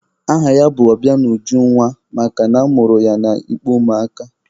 Aha ya bụ Ọbịanujunwa makana a mụrụ ya n'ikpo ụmụ aka.